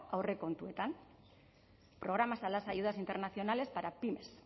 aurrekontuetan programas a las ayudas internacionales para pymes